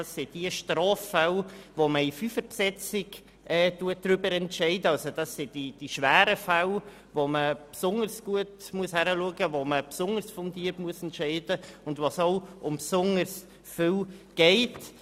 Dort entscheidet man in Fünferbesetzung über die schweren Straffälle, wo man besonders gut hinschauen und besonders fundiert entscheiden muss, weil es um besonders viel geht.